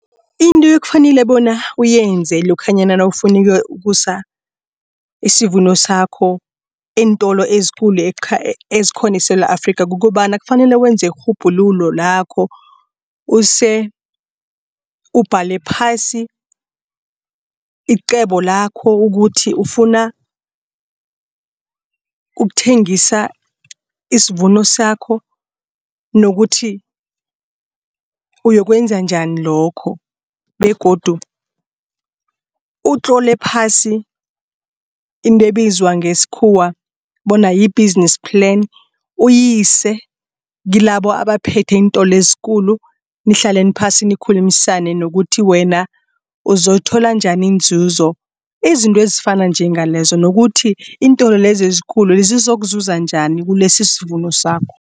Into ekufanele bona uyenze lokhanyana nawufuna ukusa isivuno sakho eentolo ezikulu ezikhona eSewula Afrika kukobana kufanele wenze irhubhululo lakho. Use ubhale phasi icebo lakho ukuthi ufuna ukuthengisa isivuno sakho nokuthi uyokwenza njani lokho begodu utlole phasi into ebizwa ngesikhuwa bona yi-business plan uyise kilabo abaphethe iintolo ezikulu. Nihlaleni phasi nikhulumisane nokuthi wena uzokuthola njani inzuzo. Izinto ezifana njengalezo nokuthi iintolo lezi ezikulu zizokuzuza njani kilesi isivuno sakho.